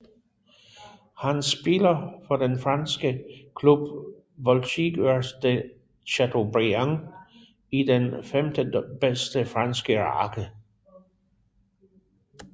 Han spiller for den franske klub Voltigeurs de Chateaubriant i den femtebedste franske række